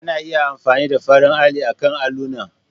Ana iya amfani da farin alli akan allunan.